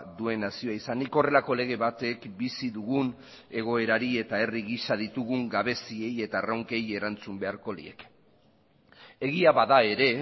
duen nazioa izanik horrelako lege batek bizi dugun egoerari eta herri gisa ditugun gabeziei eta erronkei erantzun beharko lieke egia bada ere